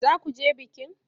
Za ku je bikin?